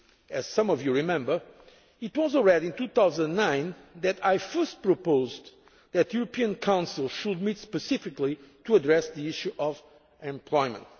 Indeed, as some of you remember, it was already in 2009 that I first proposed that the European Council should meet specifically to address the issue of employment.